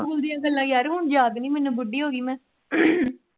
school ਦੀਆਂ ਗੱਲਾਂ ਯਾਰ ਹੁਣ ਯਾਦ ਨੀ ਮੈਨੂੰ ਬੁੱਢੀ ਹੋ ਗਈ ਮੈਂ